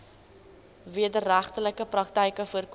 wederregtelike praktyke voorkom